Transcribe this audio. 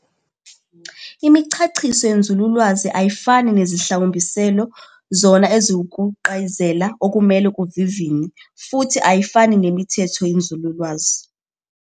Imichachiso yenzululwazi ayifani nezihlawumbiselo, zona eziwukuqaziyela okumele kuvivinywe, futhi ayifani nemithetho yenzululwazi